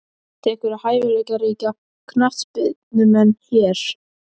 Sástu einhverja hæfileikaríka knattspyrnumenn hér?